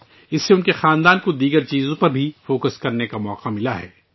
اس سے ان کے خاندان کو دیگر چیزوں پر بھی توجہ مرکوز کرنے کا موقع ملا ہے